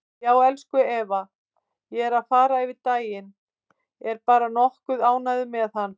Já, elsku Eva, ég er að fara yfir daginn, er bara nokkuð ánægður með hann.